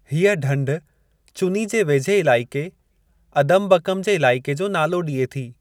हीअ ढंढ चुनी जे वेझे इलाइक़े, अदमबकम जे इलाइक़े जो नालो ॾिए थी।